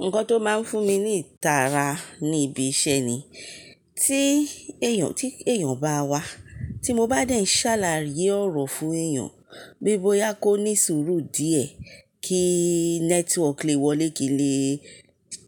Nǹkan tó máa n fún mi ní ìtara ni ibi iṣẹ́ ni, tí èèyàn, tí èèyàn bá wá, tí mo bá dẹ̀ n sáàlàyé ọ̀rọ̀ fún èèyàn, pe bóyá kó ní sùúrù díẹ̀ kí network lé wọlé kí n lè